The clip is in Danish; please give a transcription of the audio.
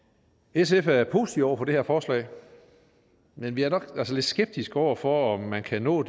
sf er positive over for det her forslag men vi er nok lidt skeptiske over for om man kan nå